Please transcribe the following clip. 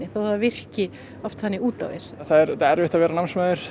þó að það virki oft þannig út á við það er auðvitað erfitt að vera námsmaður